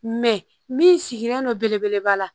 Mɛ min sigilen don belebeleba la